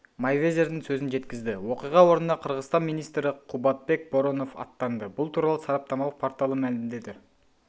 мейвезердің сөзін жеткізді оқиға орнына қырғызстан министрі қубатбек боронов аттанды бұл туралы сараптамалық порталы мәлімдеді